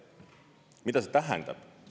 Mida see tähendab?